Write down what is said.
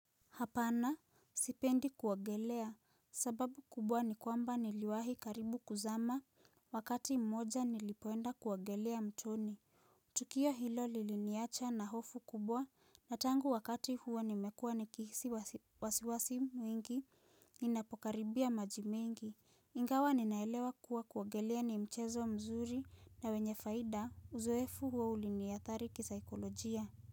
Hapana, sipendi kuogelea, sababu kubwa ni kwamba niliwahi karibu kuzama, wakati mmoja nilipoenda kuogelea mtoni. Tukio hilo liliniacha na hofu kubwa, na tangu wakati huo nimekua nikihisi wasiwasi mwingi, ninapokaribia maji mengi, ingawa ninaelewa kuwa kuogelea ni mchezo mzuri na wenye faida uzoefu huo uliniathari kisaikolojia.